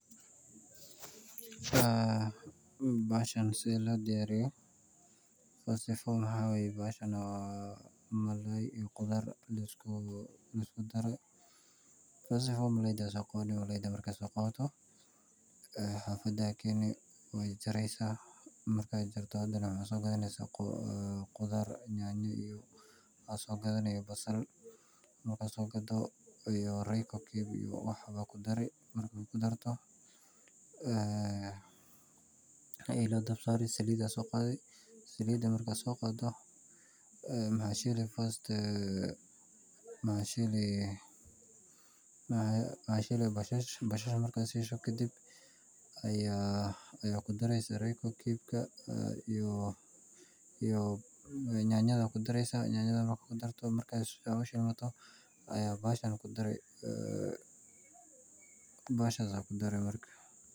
Bahashan sethi lodiyariyoh, wa sifa bahashan waxawaye malay iyo quthar lskudaray marka dawarka soqawatoh xafada keenin wajareysah, marka kartoh hadana waxasogathenyash quthar nyanya iyo basal, marka sokatoh iyo reco cubes iyo waxba kudari marka kudartoh ee ela dabsari saalit marka saoqatoh maxa sheeli basasha marka sheeshoh kadib Aya kudireysah reco cubes iyo nyantha kudireysah marka hossha Aya bahashan kudari marka.